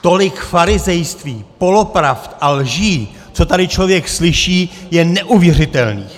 Tolik farizejství, polopravd a lží, co tady člověk slyší, je neuvěřitelných!